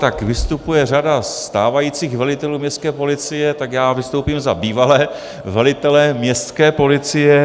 Tak vystupuje řada stávajících velitelů městské policie, tak já vystoupím za bývalé velitele městské policie.